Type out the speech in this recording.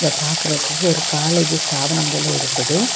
இத பாக்குறதுக்கு ஒரு காலேஜ் ஸ்தாவனம் போல இருக்குது.